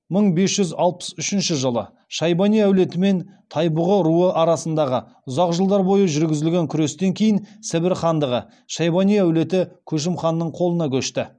мың бес жүз алпыс үшінші жылы шайбани әулеті мен тайбұғы руы арасындағы ұзақ жылдар бойы жүргізілген күрестен кейін сібір хандығы шайбани әулеті көшім ханның қолына көшті